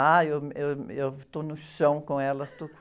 Ah, eu, eu, eu estou no chão com elas, estou...